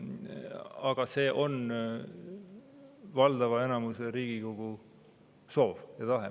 Aga see on valdava enamuse Riigikogu soov ja tahe.